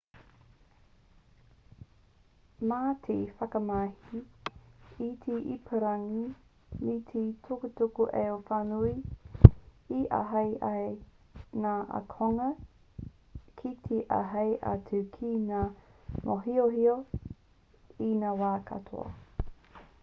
mā te whakamahi i te ipurangi me te tukutuku-ao-whānui e āhei ai ngā ākonga ki te āhei atu ki ngā mōhiohio i ngā wā katoa